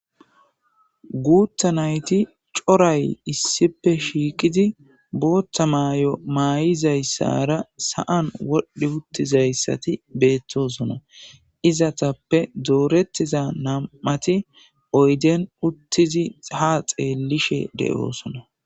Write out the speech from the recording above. Guththa nayitti corayi issippe shiqqiddi boththa mayo mayizayissara sa'anni wodhdhi uttizayisatti betosona.izatappe dorettida nam''ati oyidenn uttidi haa xellishshe de'osona.